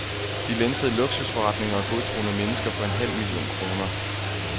De lænsede luksusforretninger og godtroende mennesker for en halv million kroner.